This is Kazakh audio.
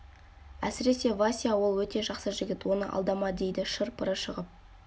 әсіресе вася ол өте жақсы жігіт оны алдама дейді шыр-пыры шығып